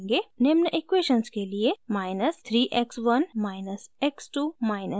निम्न इक्वेशन्स के लिए